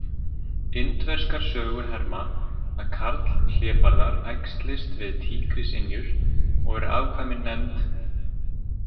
Indverskar sögur herma að karlhlébarðar æxlist við tígrisynjur og eru afkvæmin nefnd?